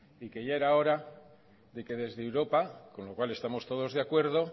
y que ya era hora que desde europa con lo cual estamos todos de acuerdo